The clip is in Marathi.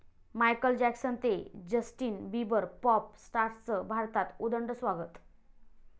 मायकल जॅक्सन ते जस्टिन बिबर, पाॅप स्टार्सचं भारतात उदंड स्वागत